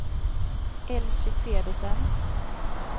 Elsy Pedersen